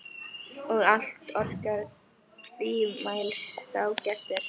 Og allt orkar tvímælis þá gert er.